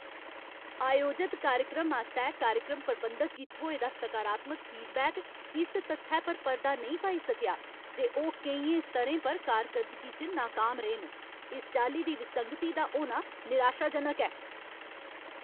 आयोजत कार्यक्रम आस्तै कार्यक्रम प्रबंधक गी थ्होए दा सकारात्मक फीडबैक इस तत्थै पर पर्दा नेईं पाई सकेआ जे ओह् केइयें स्तरें पर कारर्कदगी च नाकाम रेह् न। इस चाल्ली दी विसंगति दा होना निराशाजनक ऐ।